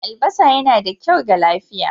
Albasa yana da kyau ga lafiya.